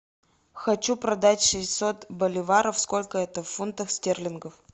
хочу продать шестьсот боливаров сколько это в фунтах стерлингов